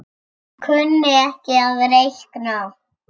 Kunni ekki að reikna.